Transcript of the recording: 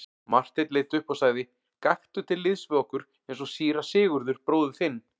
Marteinn leit upp og sagði:-Gakktu til liðs við okkur eins og síra Sigurður bróðir þinn.